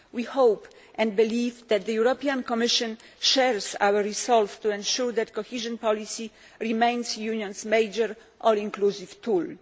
We hope and believe that the European Commission shares our resolve to ensure that cohesion policy remains the Union's major all inclusive tool.